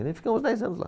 ficamos dez anos lá.